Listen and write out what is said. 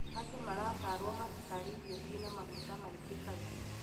Andũ maratarwo matikarĩe irio cĩina maguta maingĩ kaingĩ.